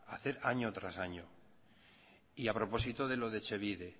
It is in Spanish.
hacer año tras año y a propósito de lo de etxebide